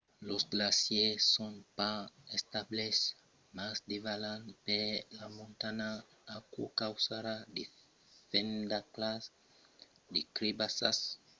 los glacièrs son pas estables mas davalan per la montanha. aquò causarà de fendasclas de crebassas que pòdon èsser escuresidas pels ponts de nèu